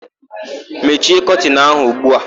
Mechie kọtịnụ áhụ̀ ugbu a!